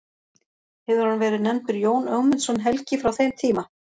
Hefur hann verið nefndur Jón Ögmundsson helgi frá þeim tíma.